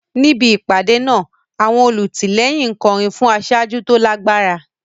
Níbi ìpàdé náà, àwọn olùtìlẹ́yìn ń kọrin fún aṣáájú tó lágbára.